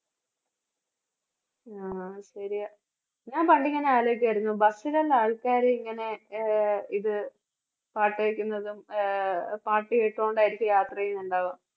ആഹ് ശരിയാ ഞാൻ പണ്ട് ഇങ്ങനെ ആലോചിക്കായിരുന്നു bus ലുള്ള ആൾക്കാര് ഇങ്ങനെ ആഹ് ഇത് പാട്ട് കേൾക്കുന്നതും ആഹ് പാട്ട് കേട്ടോണ്ടായിരിക്കും യാത്ര ചെയ്യുന്നുണ്ടാവുക.